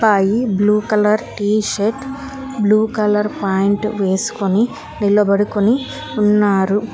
I blue colour T shirt blue colour point వేసుకుని నిలబడుకుని ఉన్నారు.